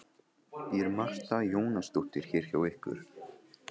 Rannsóknastofnunar Háskólans í meinafræði á Keldum.